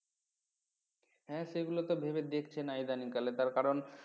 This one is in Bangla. হ্যাঁ সেগুলো তো ভেবে দেখছে না ইদানিংকালে তার কারণ